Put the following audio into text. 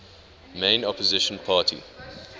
main opposition party